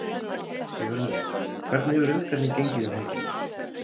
Sigurður, hvernig hefur umferðin gengið um helgina?